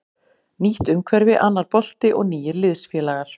Nýtt umhverfi, annar bolti og nýir liðsfélagar.